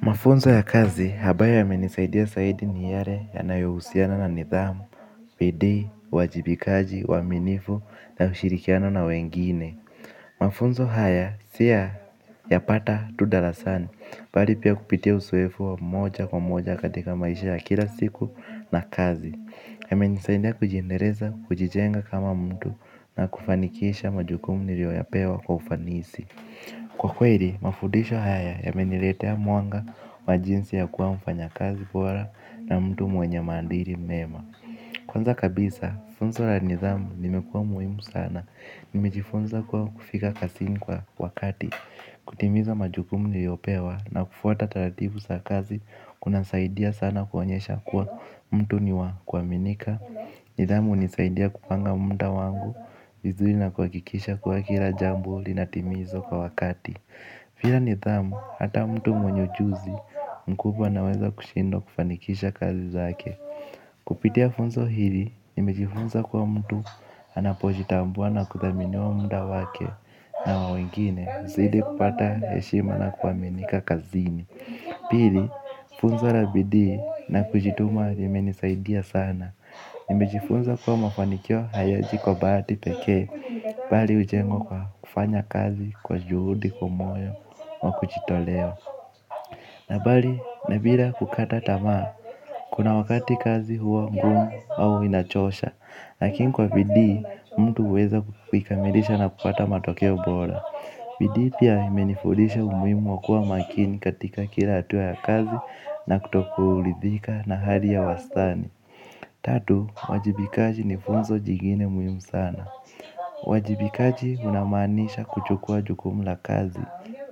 Mafunzo ya kazi ambayo yamenisaidia zaidi ni yale yanayohusiana na nidhamu bidii, uwajibikaji, uaminifu na hushirikiana na wengine. Mafunzo haya si ya yapata tu darasani bali pia kupitia uzoefu wa moja kwa moja katika maisha ya kila siku na kazi. Yamenisaidia kujiendeleza kujijenga kama mtu na kufanikisha majukumu niliyoyapewa kwa ufanisi. Kwa kweli, mafundisho haya yameniletea mwanga, wa jinsi ya kuwa mfanyakazi bora na mtu mwenye maadili mema. Kwanza kabisa, funzo la nidhamu limekua muhimu sana. Nimejifunza kuwa kufika kazini kwa wakati, kutimiza majukumu niliyopewa na kufuata taratibu sa kazi. Kunasaidia sana kuonyesha kuwa mtu ni wa kuaminika. Nidhamu hunisaidia kupanga muda wangu vizuri na kuhakikisha kuwa kila jambo linatimizwa kwa wakati bila nidhamu, hata mtu mwenye ujuzi mkubwa anaweza kushindwa kufanikisha kazi zake. Kupitia funzo hili, nimejifunza kuwa mtu anapojitambua na kuthaminiwa muda wake na wa wengine, zaidi ya kupata heshima na kuaminika kazini. Pili, funzo la bidii na kujituma limenisaidia sana. Nimejifunza kuwa mafanikio hayaji kwa bahati peke. Bali hujengwa kwa kufanya kazi kwa juhudi kwa moyo wa kujitolea. Na bali, na bila kukata tamaa. Kuna wakati kazi huwa ngumu au inachosha. Lakini kwa bidii, mtu huweza kuikamilisha na kupata matokeo bora bidii pia imenifundisha umuhimu wa kuwa makini katika kila hatua ya kazi na kutokuridhika na hali ya wastani. Tatu, wajibikaji ni funzo jingine muhimu sana uwajibikaji unamaanisha kuchukua jukumu la kazi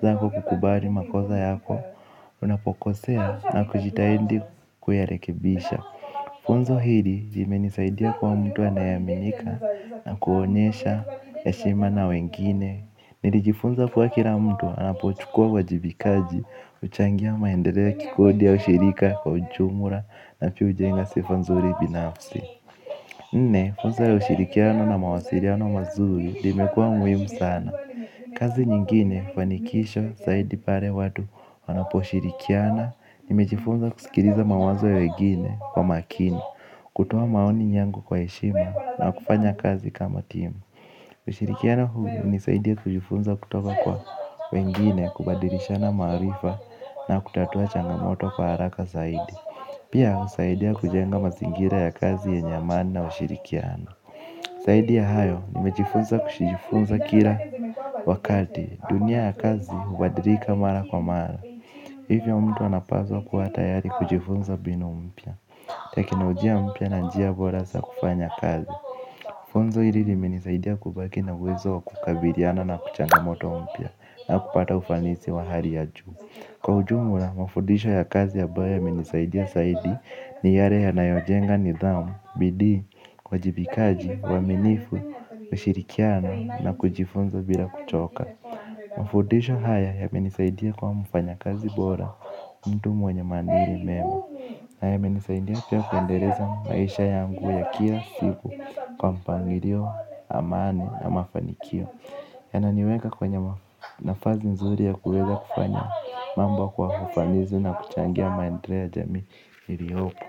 zako kukubali makosa yako. Unapokosea na kujitahidi kuyarekebisha. Funzo hili limenisaidia kuwa mtu anayeaminika na kuonyesha heshima na wengine. Nilijifunza kuwa kila mtu anapochukua uwajibikaji huchangia maendeleo ya kikodi au shirika kwa ujumla. Na pia hujenga sifa nzuri binafsi. Nne funzo ya ushirikiano na mawasiliano mazuri limekua muhimu sana. Kazi nyingine fanikisho zaidi pale watu wanaposhirikiana. Nimejifunza kusikiliza mawazo ya wengine kwa makini. Kutoa maoni yangu kwa heshima na kufanya kazi kama timu. Ushirikiano huu hunisaidia kujifunza kutoka kwa wengine kubadilishana maarifa na kutatua changamoto kwa haraka zaidi. Pia husaidia kujenga mazingira ya kazi yenye maana na ushirikiano zaidi ya hayo, nimejifunza kujifunza kila wakati, dunia ya kazi huadilika mara kwa mara. Hivyo mtu anapaswa kuwa tayari kujifunza mbinu mpya teknolojia mpya na njia bora za kufanya kazi. Funzo hili limenisaidia kubaki na uwezo wa kukabiliana na changamoto mpya na kupata ufanisi wa hali ya juu. Kwa ujumla, mafudisho ya kazi ambayo yamenisaidia zaidi ni yale yanayojenga nidhamu, bidii, uwajibikaji, uaminifu, kushirikiana na kujifunza bila kuchoka. Mafundisho haya yamenisaidia kuwa mfanyakazi bora, mtu mwenye maadili mema. Na yamenisaidia pia kuendeleza maisha yangu ya kila siku kwa mpangilio, amani na mafanikio. Yananiweka kwenye nafasi nzuri ya kuweza kufanya mambo kwa ufanisi na kuchangia maendeleo ya jamii iliyopo.